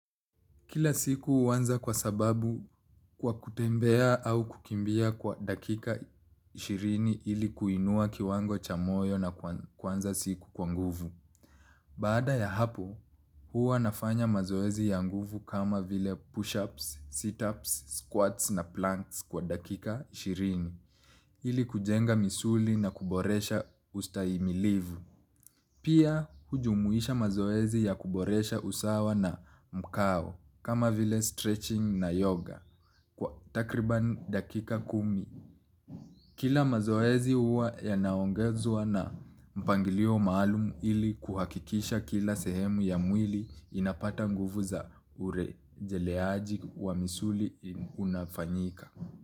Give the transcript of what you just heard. Kila siku uwanza kwa sababu kwa kutembea au kukimbia kwa dakika ishirini ili kuinua kiwango cha moyo na kwanza siku kwa nguvu. Baada ya hapo, huwa nafanya mazoezi ya nguvu kama vile push-ups, sit-ups, squats na planks kwa dakika ishirini ili kujenga misuli na kuboresha ustaimilivu. Pia ujumuisha mazoezi ya kuboresha usawa na mkao kama vile stretching na yoga kwa takriban dakika kumi. Kila mazoezi uwa yanaongezwa na mpangilio maalumu ili kuhakikisha kila sehemu ya mwili inapata nguvu za urejeleaji wa misuli unafanyika.